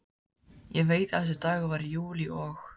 Ég veit að þessi dagur var í júlí og